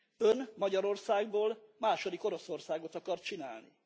Ön Magyarországból második Oroszországot akar csinálni.